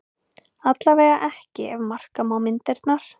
Allavega ekki ef marka má myndirnar